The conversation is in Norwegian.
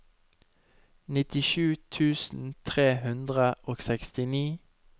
nittisju tusen tre hundre og sekstini